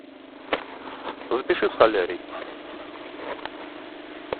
запиши в солярий